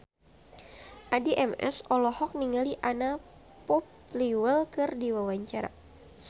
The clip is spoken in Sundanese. Addie MS olohok ningali Anna Popplewell keur diwawancara